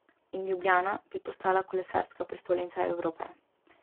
In Ljubljana bi postala kolesarska prestolnica Evrope.